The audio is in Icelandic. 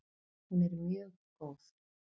Hún er mjög góð!